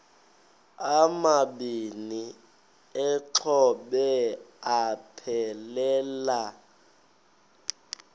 amabini exhobe aphelela